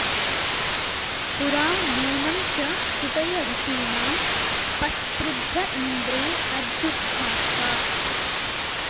पु॒रा नू॒नं च॑ स्तु॒तय॒ ऋषी॑णां पस्पृ॒ध्र इन्द्रे॒ अध्यु॑क्था॒र्का